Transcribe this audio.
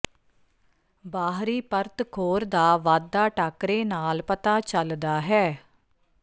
ਬਾਹਰੀ ਪਰਤ ਖੋਰ ਦਾ ਵਾਧਾ ਟਾਕਰੇ ਨਾਲ ਪਤਾ ਚੱਲਦਾ ਹੈ